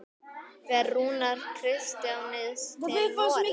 Fer Rúnar Kristins til Noregs?